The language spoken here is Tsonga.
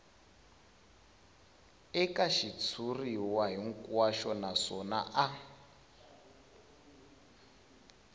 eka xitshuriwa hinkwaxo naswona a